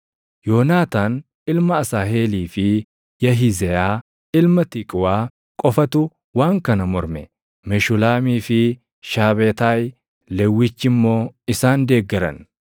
Yoonaataan ilma Asaaheelii fi Yahizeyaa ilma Tiqwaa qofatu waan kana morme; Meshulaamii fi Shaabetaayi Lewwichi immoo isaan deeggaran.